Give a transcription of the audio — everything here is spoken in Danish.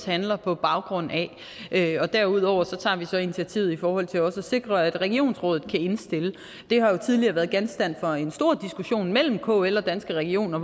handler på baggrund af og derudover tager vi så initiativet i forhold til at sikre at regionsrådet kan indstille det har jo tidligere været genstand for en stor diskussion mellem kl og danske regioner